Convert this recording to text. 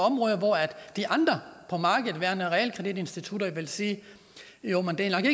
de andre realkreditinstitutter ville sige jo men det er